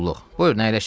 Buyurun, əyləşin.